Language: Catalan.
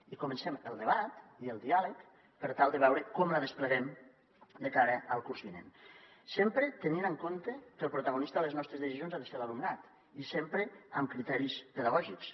i comencem el debat i el diàleg per tal de veure com la despleguem de cara al curs vinent sempre tenint en compte que el protagonista de les nostres decisions ha de ser l’alumnat i sempre amb criteris pedagògics